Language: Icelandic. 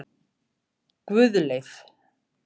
Guðleif